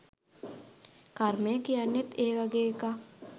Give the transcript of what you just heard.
කර්මය කියන්නෙත් ඒ වගේ එකක්.